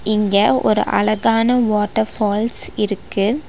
இங்க ஒரு அழகான வாட்டர் ஃபால்ஸ் இருக்கு.